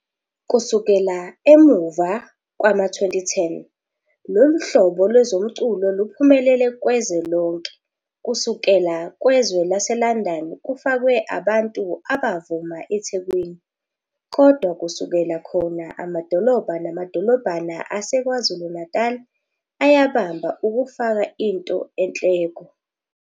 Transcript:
Kusukela emuva kwama-2010, lolu hlobo lwezomculo luphumelele kwezwe lonke, kusukela kwezwe laseLondon. Kufakwe abantu abavuma eThekwini, kodwa kusukela khona amadolobha nama-dolobhana aseKwaZulu-Natal ayabamba ukufaka into enhleko.